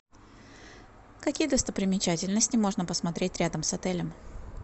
какие достопримечательности можно посмотреть рядом с отелем